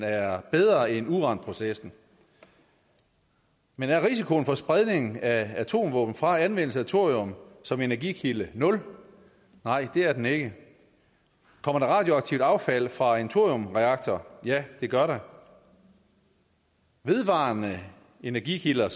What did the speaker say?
er bedre end uranprocessen men er risikoen for spredning af atomvåben fra anvendelse af thorium som energikilde nul nej det er den ikke kommer der radioaktivt affald fra en thoriumreaktor ja det gør der vedvarende energi kilder